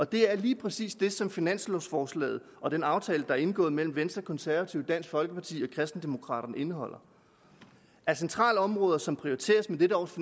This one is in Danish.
det er lige præcis det som finanslovforslaget og den aftale der er indgået mellem venstre konservative dansk folkeparti og kristendemokraterne indeholder af centrale områder som bør prioriteres med dette års